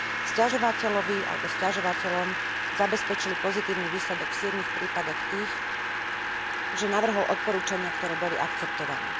Sťažovateľovi alebo sťažovateľom zabezpečili pozitívny výsledok v siedmich prípadoch tým, že navrhol odporúčania, ktoré boli akceptované.